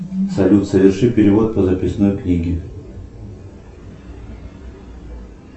салют соверши перевод по записной книге